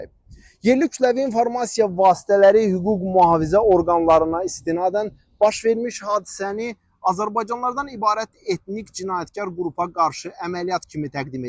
Yerli kütləvi informasiya vasitələri hüquq-mühafizə orqanlarına istinadən baş vermiş hadisəni azərbaycanlılardan ibarət etnik cinayətkar qrupa qarşı əməliyyat kimi təqdim edir.